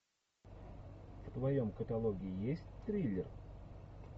в твоем каталоге есть триллер